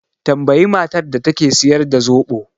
Tambayi matar da take siyar da zoɓo